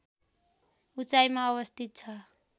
उचाइमा अवस्थित छ